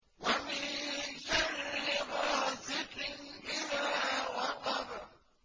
وَمِن شَرِّ غَاسِقٍ إِذَا وَقَبَ